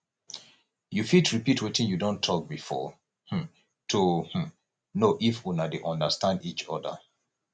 you fit repeat wetin you don talk before um to um know if una de understand each oda